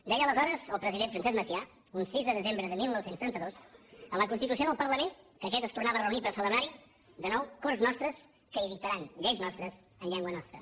deia aleshores el president francesc macià un sis de desembre de dinou trenta dos en la constitució del parlament que aquest es tornava a reunir per celebrar hi de nou corts nostres que hi dictaran lleis nostres en llengua nostra